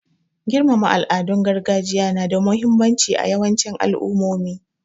Girmama al'adun gargajiya na da muhimmanci a yawancin al'ummomi.